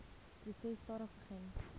proses stadig begin